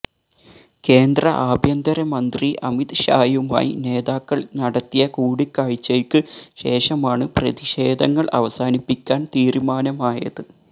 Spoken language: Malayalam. കേന്ദ്ര ആഭ്യന്തര മന്ത്രി അമിത് ഷായുമായി നേതാക്കള് നടത്തിയ കൂടിക്കാഴ്ചയ്ക്ക് ശേഷമാണ് പ്രതിഷേധങ്ങള് അവസാനിപ്പിക്കാന് തീരുമാനമായത്